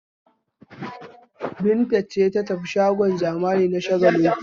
Binta ce za ta tafi shagon zamani na Shagalinku?